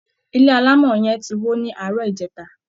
Ilé alámọ̀ọ̀ yẹn ti wó ni àárọ̀ ìjẹta